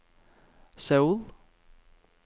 Seoul